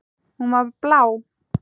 Hún var blá.